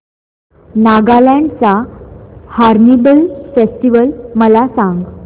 नागालँड चा hornbill festival मला सांग